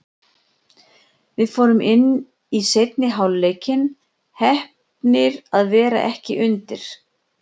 Við fórum inn í seinni hálfleikinn, heppnir að vera ekki undir.